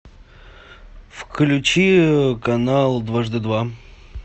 включи канал дважды два